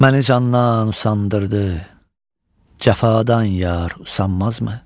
Məni candan usandırdı, Cəfadan yar usanmazmı?